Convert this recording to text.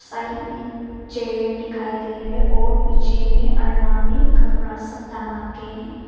Side में chair दिखाई दे रहे और पीछे में अरना में कपड़ा सब टांगा है।